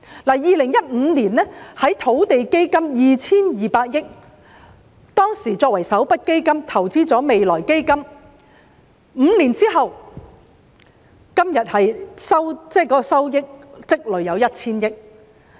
在2015年，當時以土地基金 2,200 億元結餘作為首筆基金投資到未來基金；在5年後，今天的收益積累便有 1,000 億元。